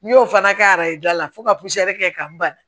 N'i y'o fana kɛ ayi da la fo ka kɛ ka n bana